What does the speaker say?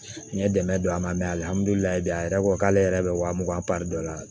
N ye dɛmɛ don a ma alihamudulilayi a yɛrɛ ko k'ale yɛrɛ bɛ wa mugan dɔ la